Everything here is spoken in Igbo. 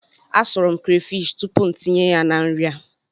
Asụrụ m krefishi tupu m tinye ya na nri a.